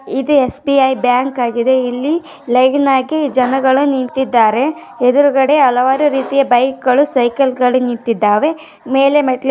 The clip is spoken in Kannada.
ಇದು ಎಸ್ ಬಿ ಐ ಬ್ಯಾಂಕ್ ಆಗಿದೆ. ಇಲ್ಲಿ ಲಾಗಿನ್ ಆಗಿ ಜನಗಳ ನಿಂತಿದ್ದಾರೆ. ಎದುರುಗಡೆ ಹಲವಾರು ರೀತಿಯ ಬೈಕ್ ಗಳು ಸೈಕಲ್ ಗಳು ನಿಂತಿದ್ಧವೇ. ಮೇಲೆ ಮೆಟ್ಟಲು --